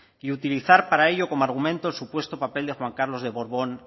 y utilizar para ello como argumento el supuesto papel de juan carlos de borbón